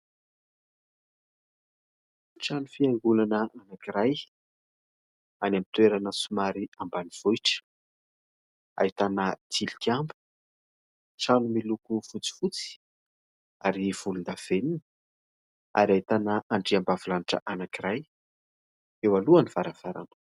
Trano fiangonana anankiray any amin'ny toerana somary ambanivohitra, ahitana tilikambo, trano miloko fotsifotsy ary volondavenona ary ahitana andriambavy lanitra anankiray eo alohan'ny varavarana.